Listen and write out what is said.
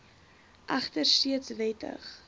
egter steeds wettig